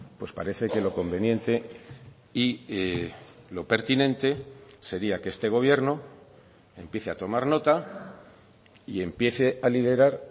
pues parece que lo conveniente y lo pertinente sería que este gobierno empiece a tomar nota y empiece a liderar